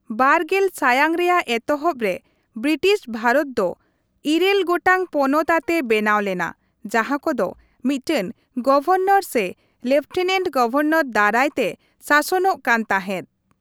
᱒᱐ ᱥᱟᱭᱟᱝ ᱨᱮᱭᱟᱜ ᱮᱛᱚᱦᱚᱵ ᱨᱮ, ᱵᱨᱤᱴᱤᱥ ᱵᱷᱟᱨᱚᱛ ᱫᱚ ᱤᱨᱟᱹᱞ ᱜᱚᱴᱟᱝ ᱯᱚᱱᱚᱛ ᱟᱛᱮ ᱵᱮᱱᱟᱣ ᱞᱮᱱᱟ ᱡᱟᱦᱟᱸ ᱠᱚᱫᱚ ᱢᱤᱫᱴᱟᱝ ᱜᱚᱵᱷᱚᱨᱱᱚᱨ ᱥᱮ ᱞᱮᱯᱷᱴᱮᱱᱮᱱᱴ ᱜᱚᱵᱷᱚᱨᱱᱚᱨ ᱫᱟᱨᱟᱭ ᱛᱮ ᱥᱟᱥᱚᱱᱚᱜ ᱠᱟᱱ ᱛᱟᱦᱮᱸᱫ ᱾